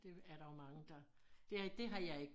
Det er der jo mange der det dét har jeg ikke